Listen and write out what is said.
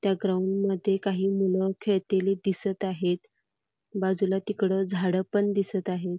त्या ग्राऊंडमध्ये काही मुलं खेळातेली दिसत आहेत बाजूला तिकडं झाडपण दिसत आहेत.